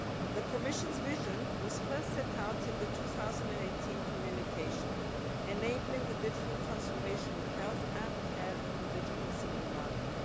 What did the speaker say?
The Commission's vision was first set out in the 2018 communication Enabling the digital transformation of health and care in the Digital Single Market'.